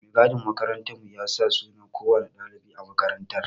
Mai gadin makarantar mu ya san sunan kowanne ɗalibi a makarantar